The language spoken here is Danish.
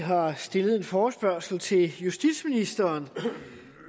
har stillet en forespørgsel til justitsministeren